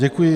Děkuji.